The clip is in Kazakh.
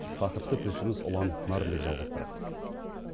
тақырыпты тілшіміз ұлан нарынбек жалғастырады